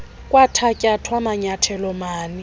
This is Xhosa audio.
kwathatyathwa manyathelo mani